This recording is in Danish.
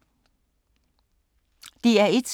DR1